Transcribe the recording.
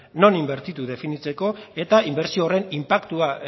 non inbertitu definitzeko eta inbertsio horren inpaktua